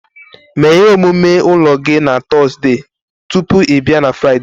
Mee ihe omume ụlọ gị na Tọzdee tupu ị bịa na Fraịde